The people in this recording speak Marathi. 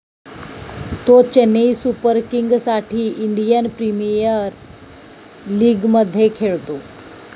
तो चेन्नई सुपर किंगसाठी इंडियन प्रीमियर लिगमध्ये खेळतो.